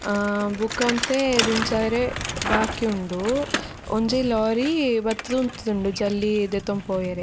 ಆ ಬೊಕ ಒಂತೆ ದಿಂಜಾವೆರೆ ಬಾಕಿ ಉಂಡು ಒಂಜಿ ಲೋರಿ ಬತ್ತುದು ಉಂತುದುಂಡು ಜಲ್ಲಿ ದೆತೊಂದು ಪೋವರೆ--